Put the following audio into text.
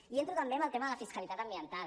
i entro també en el tema de la fiscalitat ambiental